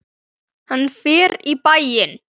Hann fer í bæinn!